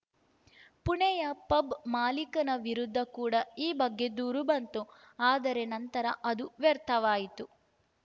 ಪುಣೆಯ ಪಬ್‌ ಮಾಲೀಕನ ವಿರುದ್ಧ ಕೂಡ ಈ ಬಗ್ಗೆ ದೂರು ಬಂತು ಆದರೆ ನಂತರ ಅದು ವ್ಯರ್ಥವಾಯಿತು